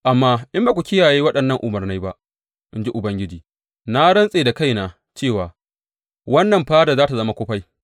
Amma in ba ku kiyaye waɗannan umarnai ba, in ji Ubangiji, na rantse da kaina cewa wannan fada za tă zama kufai.’